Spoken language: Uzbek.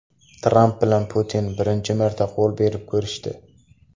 Tramp va Putin birinchi marta qo‘l berib ko‘rishdi .